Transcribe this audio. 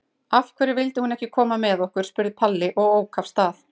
Af hverju vildi hún ekki koma með okkur? spurði Palli og ók af stað.